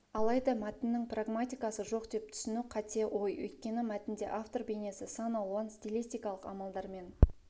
алайда мәтіннің прагматикасы жоқ деп түсіну қате ой өйткені мәтінде автор бейнесі сан алуан стилистикалық амалдармен